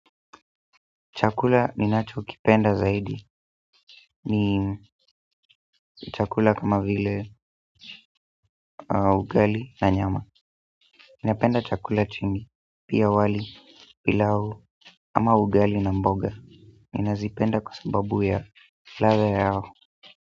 Chakula ninachokipenda zaidi ni chakula kama vile ugali na nyama ninapenda chakula chingi pia wali pilau ama ugali na mboga. Ninazipenda kwa sababu ya ladha yao.